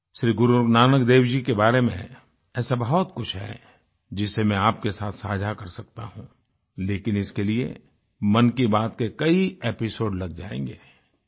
श्री गुरुनानकदेव जी बारे में ऐसा बहुत कुछ है जिसे मैं आपके साथ साझा कर सकता हूँ लेकिन इसके लिए मन की बात के कई एपिसोड लग जाएंगे